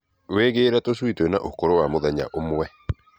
Wĩgĩĩre tũcui twĩna ũkũru wa mũthenya ũmwe